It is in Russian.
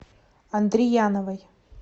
андрияновой